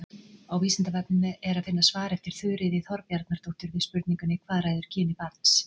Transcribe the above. Á Vísindavefnum er að finna svar eftir Þuríði Þorbjarnardóttur við spurningunni Hvað ræður kyni barns?